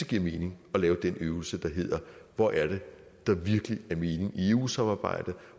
giver mening at lave den øvelse der hedder hvor er det der virkelig er mening i eu samarbejdet